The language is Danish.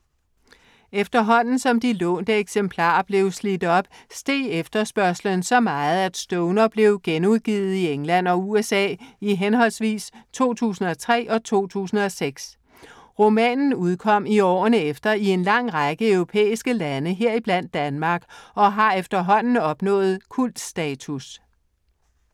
Efterhånden som de lånte eksemplarer blev slidt op, steg efterspørgslen så meget, at Stoner blev genudgivet i England og USA i henholdsvis 2003 og 2006. Romanen udkom i årene efter i en lang række europæiske lande, heriblandt Danmark, og har efterhånden opnået kultstatus.